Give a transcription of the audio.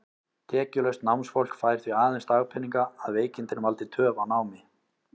Tekjulaust námsfólk fær því aðeins dagpeninga, að veikindin valdi töf á námi.